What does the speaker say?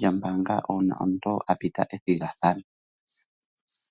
lyombaanga una omuntu apita ethigathano.